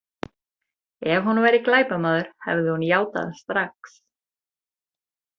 Ef hún væri glæpamaður, hefði hún játað strax.